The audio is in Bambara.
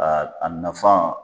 Aa a nafan